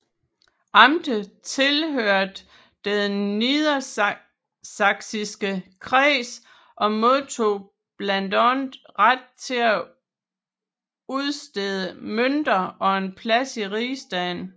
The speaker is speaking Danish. Amtet tilhørte den Niedersachsiske Kreds og modtog blandt andet ret til udstedelse af mønter og en plads i rigsdagen